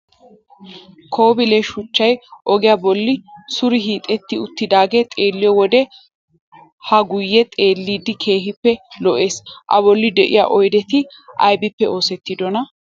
Kobile shuchchay ogiya bolli suure hiixetti uttidaagee xeelliyo wode haa guyye xeellidi keehippe lo"ees A bolli de'iya oydeti aybippe oosettidonaa?